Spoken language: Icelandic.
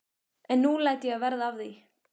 En nú læt ég verða af því.